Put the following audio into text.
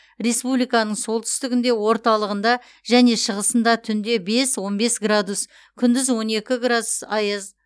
республиканың солтүстігінде орталығында және шығысында түнде бес он бес градус күндіз он екі градус аяз